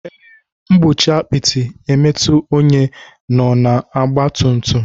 Ee, n'egbochi apịtị imetu ónyé nọ na ọgba tum tum.